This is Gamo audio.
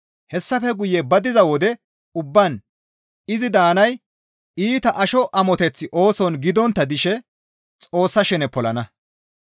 Hessafe guye ba diza wode ubbaan izi daanay iita asho amoteth ooson gidontta dishe Xoossa shene polonna.